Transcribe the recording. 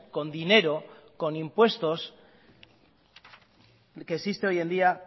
con dinero con impuestos que existe hoy en día